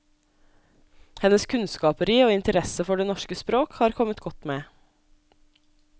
Hennes kunnskaper i og interesse for det norske språk har kommet godt med.